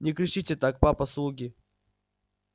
не кричите так папа слуги